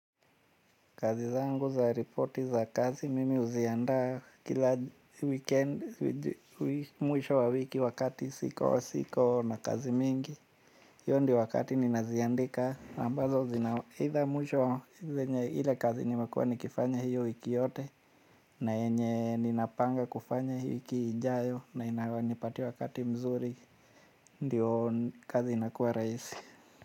Kazi zangu za reporti za kazi mimi huzianda kila weekend mwisho wa wiki wakati siko wa siko na kazi mingi hiyo ndiyo wakati ninaziandika ambazo zina aidha mwisho ile kazi nimekuwa nikifanya hiyo wiki yote. Na yenye ninapanga kufanya hiyo wiki ijayo na inapatia wakati mzuri ndio kazi inakuwa rahisi.